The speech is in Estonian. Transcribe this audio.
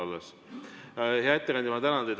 Hea ettekandja, ma tänan teid!